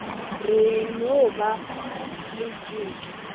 re e no ba letšeke